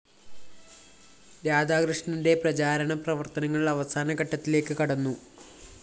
രാധാകൃഷ്ണന്റെ പ്രചാരണ പ്രവര്‍ത്തനങ്ങള്‍ അവസാന ഘട്ടത്തിലേക്ക്‌ കടന്നു